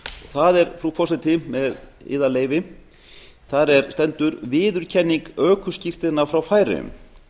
það er frú forseti með yðar leyfi þar stendur viðurkenning ökuskírteina frá færeyjum